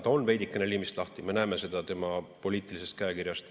Ta on veidikene liimist lahti, me näeme seda tema poliitilisest käekirjast.